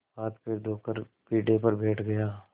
हाथपैर धोकर पीढ़े पर बैठ गया